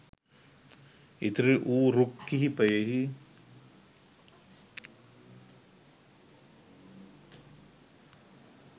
ඉතිරි වූ රුක් කිහිපයෙහි